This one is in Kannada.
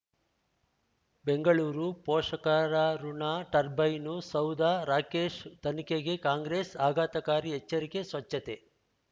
ಬೆಂಗಳೂರು ಪೋಷಕರಋಣ ಟರ್ಬೈನು ಸೌಧ ರಾಕೇಶ್ ತನಿಖೆಗೆ ಕಾಂಗ್ರೆಸ್ ಆಘಾತಕಾರಿ ಎಚ್ಚರಿಕೆ ಸ್ವಚ್ಛತೆ